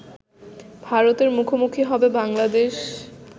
ভারতের মুখোমুখি হবে বাংলাদেশ